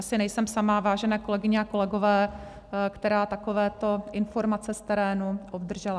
Asi nejsem sama, vážené kolegyně a kolegové, která takovéto informace z terénu obdržela.